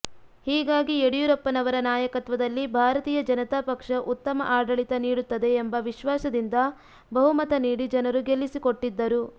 ಹೀಗಾಗಿ ಯಡಿಯೂರಪ್ಪನವರ ನಾಯಕತ್ವದಲ್ಲಿ ಭಾರತೀಯ ಜನತಾ ಪಕ್ಷ ಉತ್ತಮ ಆಡಳಿತ ನೀಡುತ್ತದೆ ಎಂಬ ವಿಶ್ವಾಸದಿಂದ ಬಹುಮತ ನೀಡಿ ಜನರು ಗೆಲ್ಲಿಸಿಕೊಟ್ಟಿದ್ದರು